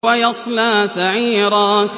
وَيَصْلَىٰ سَعِيرًا